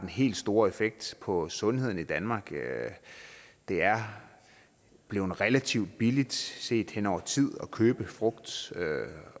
helt store effekt på sundheden i danmark det er blevet relativt billigt set over tid at købe frugt